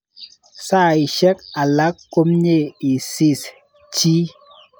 Saisyek alak komye isis chi.